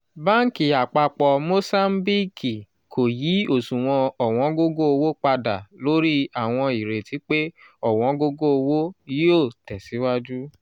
báńkì àpapọ̀ mòsáńbíìkì kò yí osuwon owongogo-owo padà lórí awọn ireti pe owongogo-owo yoo tesiwaju.